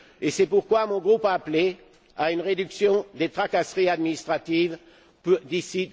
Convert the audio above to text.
C'est pourquoi mon groupe a appelé à une réduction des tracasseries administratives d'ici